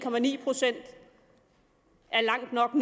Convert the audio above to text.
procent er langt nok